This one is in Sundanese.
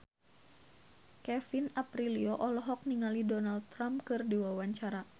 Kevin Aprilio olohok ningali Donald Trump keur diwawancara